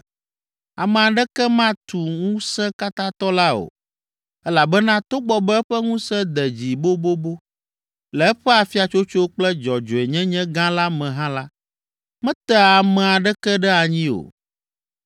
Ame aɖeke matu Ŋusẽkatãtɔ la o elabena togbɔ be eƒe ŋusẽ de dzi bobobo, le eƒe afiatsotso kple dzɔdzɔenyenye gã la me hã la, metea ame aɖeke ɖe anyi o.